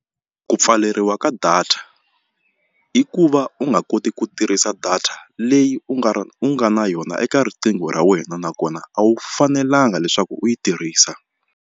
Ku pfaleriwa ka data hi ku va u nga koti ku tirhisa data leyi u nga u nga na yona eka riqingho ra wena nakona a wu fanelanga leswaku u yi tirhisa.